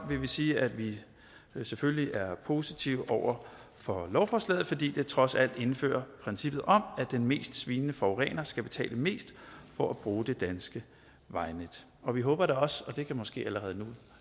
vil vi sige at vi selvfølgelig er positive over for lovforslaget fordi det trods alt indfører princippet om at den mest svinende forurener skal betale mest for at bruge det danske vejnet og vi håber da også og det kan måske allerede